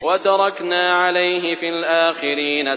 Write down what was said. وَتَرَكْنَا عَلَيْهِ فِي الْآخِرِينَ